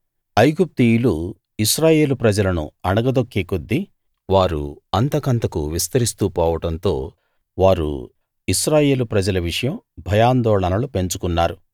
ఐగుప్తీయులు ఇశ్రాయేలు ప్రజలను అణగదొక్కేకొద్దీ వారు అంతకంతకూ విస్తరిస్తూ పోవడంతో వారు ఇశ్రాయేలు ప్రజల విషయం భయాందోళనలు పెంచుకున్నారు